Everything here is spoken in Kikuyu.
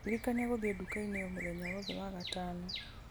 ndirikania gũthiĩ nduka-inĩ o mũthenya wothe wa gatano